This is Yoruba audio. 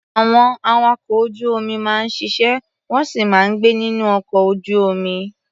Àwọn awakọ̀ ojú-omi máa ń ṣiṣẹ́, wọ́n sì máa ń gbé nínú ọkọ ojú-omi.